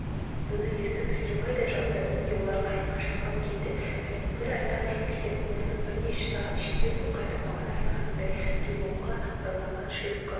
бұны есту бізге майдай жақты міне олар қайыққа жақын келді және бір айта кететіні осы бірнеше сағат ішінде су қайтып бағана айтқанымдай дөңбекке байланған шлюпка